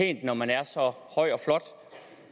ikke når man er så høj og flot